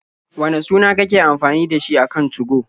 Wane suna kake amfani da shi a kan 2go?